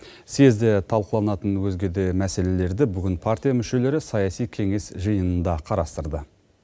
съезде талқыланатын өзге де мәселелерді бүгін партия мүшелері саяси кеңес жиынында қарастырды